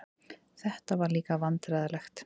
Þetta var líka vandræðalegt.